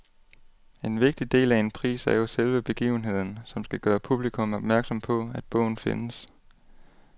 En vigtig del af en pris er jo selve begivenheden, som skal gøre publikum opmærksom på, at bogen findes.